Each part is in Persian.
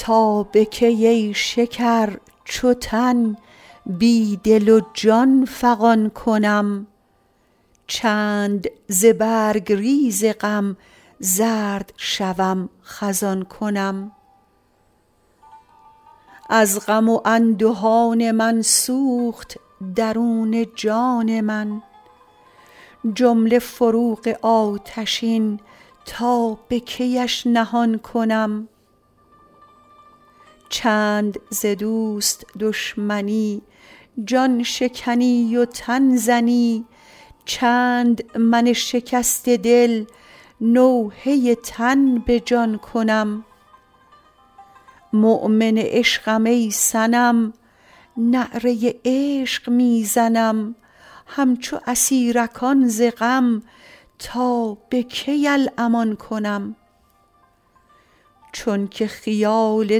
تا به کی ای شکر چو تن بی دل و جان فغان کنم چند ز برگ ریز غم زرد شوم خزان کنم از غم و اندهان من سوخت درون جان من جمله فروغ آتشین تا به کیش نهان کنم چند ز دوست دشمنی جان شکنی و تن زنی چند من شکسته دل نوحه تن به جان کنم مؤمن عشقم ای صنم نعره عشق می زنم همچو اسیرکان ز غم تا به کی الامان کنم چونک خیال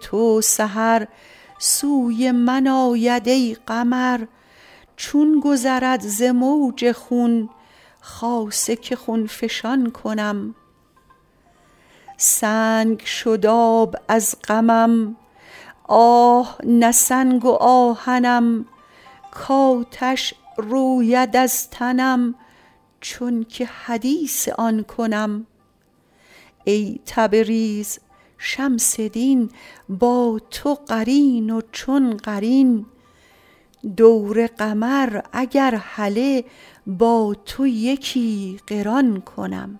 تو سحر سوی من آید ای قمر چون گذرد ز موج خون خاصه که خون فشان کنم سنگ شد آب از غمم آه نه سنگ و آهنم کآتش روید از تنم چونک حدیث آن کنم ای تبریز شمس دین با تو قرین و چون قرین دور قمر اگر هله با تو یکی قران کنم